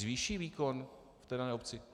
Zvýší výkon v dané obci?